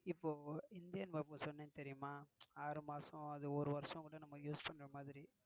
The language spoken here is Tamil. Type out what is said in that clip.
இப்போ இந்தியன் னா என்னனு தெரியுமா ஆறு மாசம் அது ஒரு வருஷம் கூட நம்ம use பண்ற மாதிரி.